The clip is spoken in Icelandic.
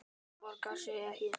Þetta borgar sig ekki.